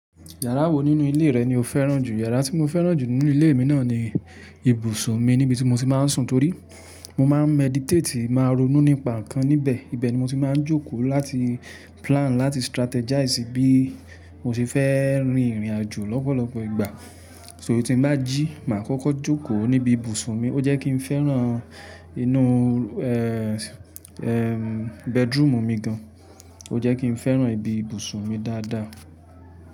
Yàrá wo nínú ilé rẹ ni o fẹ́ràn jù? Yàrá tí mo fẹ́ràn jù nínú ilé mi náà ni ibùsùn mi níbi tí mo ti máa ń sùn torí mo máa ń meditate, màá ronú nípa nǹkan níbẹ̀. Ibẹ̀ ni mo ti máa ń jókòó láti plan, láti strategize bí mo ṣe fẹ́ rin ìrìnàjò lọ́pọ̀lọpọ̀ ìgbà. So tí mbá jí, mà á kọ́kọ́ jókòó níbi ibùsùn mi. O jẹ́ kí n fẹ́ràn inú, ẹ́ẹ́, bedroom mi gan. O jẹ́ kí n fẹ́ràn ibi ibùsùn mi dáadáa.